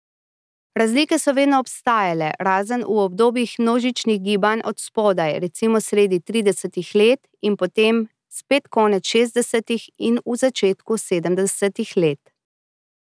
Razlike so vedno obstajale, razen v obdobjih množičnih gibanj od spodaj, recimo sredi tridesetih let in potem spet konec šestdesetih in v začetku sedemdesetih let.